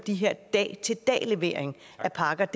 dag til dag levering af pakker